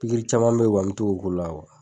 Pikiri caman be yen kɔni n bi to ka o k'u la